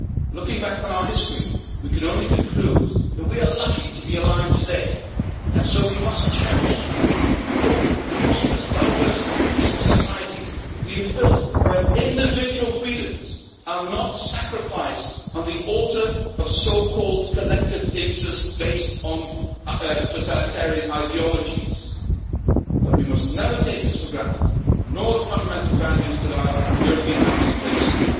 Looking back on our history, we can only conclude that we are lucky to be alive today, and so we must cherish the open, prosperous, diverse and peaceful societies we have built where individual freedoms are not sacrificed on the altar of so called collective interests based on a totalitarian ideologies. But we must never take this for granted, nor the fundamental values that our European house is based